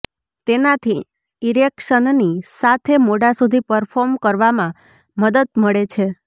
તેનાથી ઇરેક્શનની સાથે મોડા સુધી પરર્ફોમ કરવામાં મદદ મળે છે